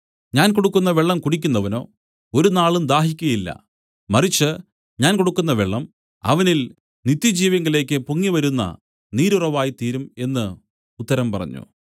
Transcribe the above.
ഞാൻ കൊടുക്കുന്ന വെള്ളം കുടിക്കുന്നവനോ ഒരുനാളും ദാഹിക്കയില്ല മറിച്ച് ഞാൻ കൊടുക്കുന്ന വെള്ളം അവനിൽ നിത്യജീവങ്കലേക്ക് പൊങ്ങിവരുന്ന നീരുറവായി തീരും എന്നു ഉത്തരം പറഞ്ഞു